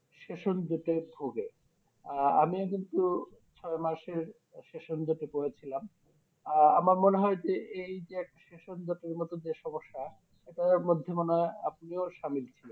সেসঞ্জিতে ভোগে আহ আমিও কিন্তু ছয় মাসের সেসঞ্জিত করে ছিলাম আহ আমার মনে হয় যে এই যে এক সেসঞ্জিত ইর মতো যে সমস্যা এটার মধ্যে আপনিও সামিল ছিলেন